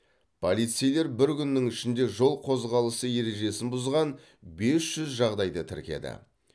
полицейлер бір күннің ішінде жол қозғалысы ережесін бұзған бес жүз жағдайды тіркеді